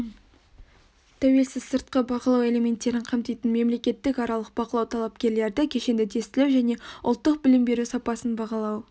тәуелсіз сыртқы бағалау элементтерін қамтитын мемлекеттік аралық бақылау талапкерлерді кешенді тестілеу және ұлттық білім беру сапасын бағалау